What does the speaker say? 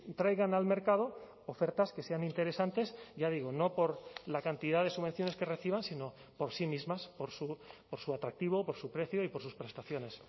traigan al mercado ofertas que sean interesantes ya digo no por la cantidad de subvenciones que reciban sino por sí mismas por su atractivo por su precio y por sus prestaciones